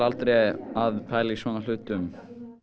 aldrei að pæla í svona hlutum